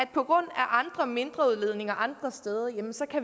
på grund af andre mindre udledninger andre steder så